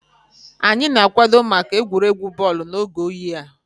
Anyị na-akwado maka egwuregwu bọọlụ n'oge oyi a